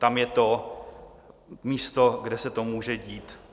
Tam je to místo, kde se to může dít.